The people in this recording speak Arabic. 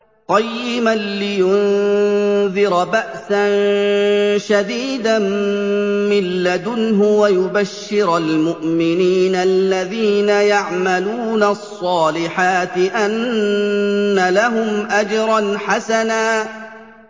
قَيِّمًا لِّيُنذِرَ بَأْسًا شَدِيدًا مِّن لَّدُنْهُ وَيُبَشِّرَ الْمُؤْمِنِينَ الَّذِينَ يَعْمَلُونَ الصَّالِحَاتِ أَنَّ لَهُمْ أَجْرًا حَسَنًا